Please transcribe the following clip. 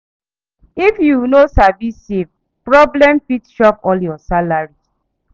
If you no sabi save, problem fit chop all your salary.